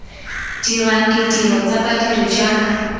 dirang ditiro tsa badiri jaaka